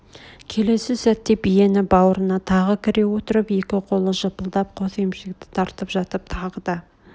келесі сәтте биенің бауырына тағы кіре отырып екі қолы жыпылдап қос емшекті тартып жатып тағы да